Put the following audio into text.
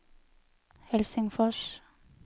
Helsingfors